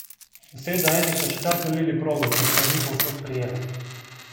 Deset do enih so še kar solili progo, ker se ni povsod prijela.